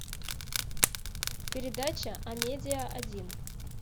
передача амедиа один